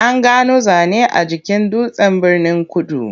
An gano zane a jikin dutsen Birnin-kudu.